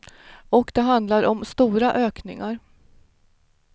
Och det handlar om stora ökningar.